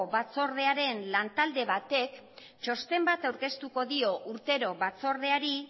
batzordearen lantalde batek txosten bat aurkeztuko dio urtero batzordeari